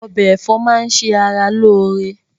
Ọbẹ̀ ẹ̀fọ́ máà ń ṣe ara lóore